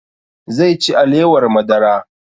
Zai ci alewar madara